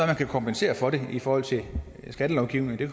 man kan kompensere for det i forhold til skattelovgivningen det